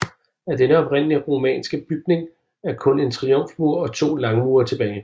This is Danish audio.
Af denne oprindelige romanske bygning er kun en triumfmur og to langmure tilbage